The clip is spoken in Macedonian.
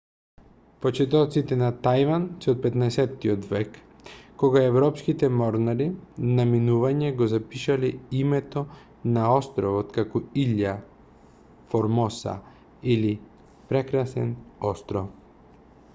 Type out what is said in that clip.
почетоците на тајван се од 15-тиот век кога европските морнари на минување го запишале името на островот како иља формоса или прекрасен остров